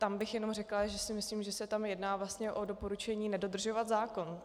Tam bych jenom řekla, že si myslím, že se tam jedná vlastně o doporučení nedodržovat zákon.